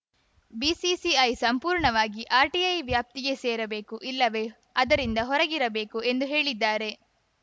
BCCI ಸಂಪೂರ್ಣವಾಗಿ RTI ವ್ಯಾಪ್ತಿಗೆ ಸೇರಬೇಕು ಇಲ್ಲವೇ ಅದರಿಂದ ಹೊರಗಿರಬೇಕು ಎಂದು ಹೇಳಿದ್ದಾರೆ